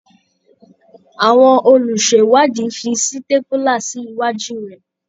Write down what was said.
Àwọn olùṣèwádìí fi sítépúlà sí iwájú rẹ̀.